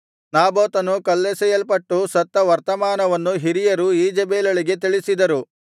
ನಾಬೋತನು ಕಲ್ಲೆಸೆಯಲ್ಪಟ್ಟು ಸತ್ತ ವರ್ತಮಾನವನ್ನು ಹಿರಿಯರು ಈಜೆಬೆಲಳಿಗೆ ತಿಳಿಸಿದರು